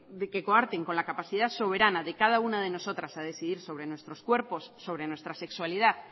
que de coarten con la capacidad soberana de cada una de nosotras a decidir sobre nuestros cuerpos sobre nuestra sexualidad